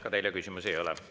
Ka teile küsimusi ei ole.